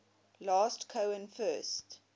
last cohen first